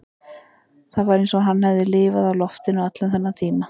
Það var eins og hann hefði lifað á loftinu allan þennan tíma